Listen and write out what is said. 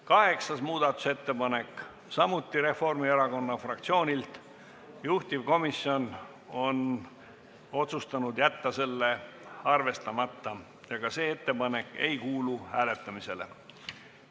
Kaheksas muudatusettepanek, samuti Reformierakonna fraktsioonilt, juhtivkomisjon on otsustanud jätta selle arvestamata ja ka see ettepanek ei kuulu hääletamisele.